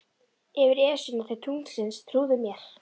Yfir Esjuna til tunglsins, trúðu mér.